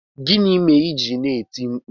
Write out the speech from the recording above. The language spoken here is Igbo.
Gịnị mere i ji na-etiri mkpu?